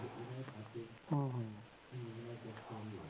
ਹਮ ਹਮ